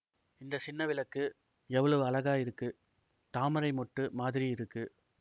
இந்த சின்னவிளக்கு எவ்வளவு அழகா இருக்கு தாமரை மொட்டு மாதிரி இருக்கு